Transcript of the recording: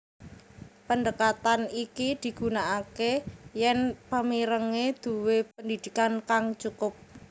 Pendekatan iki digunakake yen pemirenge duwé pendidikan kang cukup